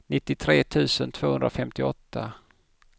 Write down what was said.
nittiotre tusen tvåhundrafemtioåtta